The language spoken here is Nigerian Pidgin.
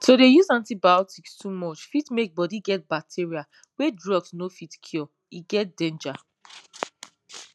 to dey use antibiotics too much fit make bodi get bacteria wey drug no fit cure e get danger